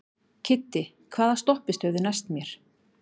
Kiddi, hvaða stoppistöð er næst mér?